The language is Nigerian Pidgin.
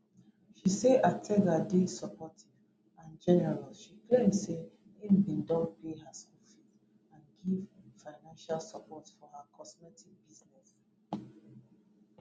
she say ataga dey supportive and generous she claim say im bin don pay her school fees and give financial support for her cosmetics business